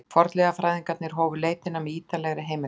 Fornleifafræðingarnir hófu leitina með ýtarlegri heimildarannsókn.